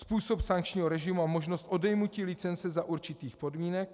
Způsob sankčního režimu a možnost odejmutí licence za určitých podmínek.